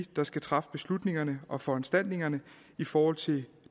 der skal træffe beslutningerne og foranstaltningerne i forhold til